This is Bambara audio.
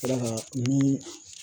D'a kan ni